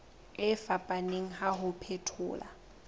e fapaneng ya ho phethola